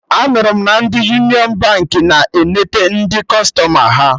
Anụrụ m na ndị Union Baankị na-enete ndị kụstọma ha